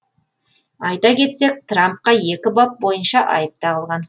айта кетсек трампқа екі бап бойынша айып тағылған